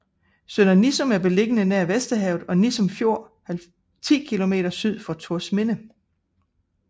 Sønder Nissum er beliggende nær Vesterhavet og Nissum Fjord 10 kilometer syd for Thorsminde